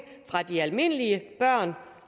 fra de almindelige børn